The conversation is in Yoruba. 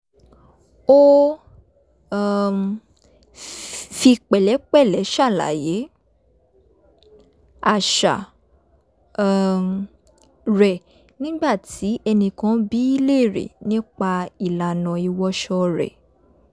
ó um fi pẹ̀lẹ́pẹ̀lẹ́ ṣàlàyé àṣà um rẹ̀ nígbà tí ẹnìkan bi í léèrè nipa ìlànà ìwọṣọ rẹ̀